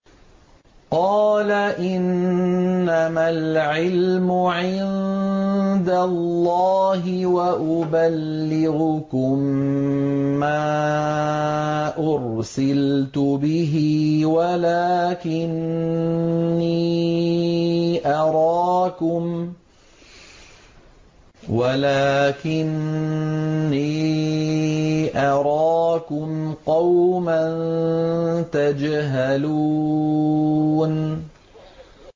قَالَ إِنَّمَا الْعِلْمُ عِندَ اللَّهِ وَأُبَلِّغُكُم مَّا أُرْسِلْتُ بِهِ وَلَٰكِنِّي أَرَاكُمْ قَوْمًا تَجْهَلُونَ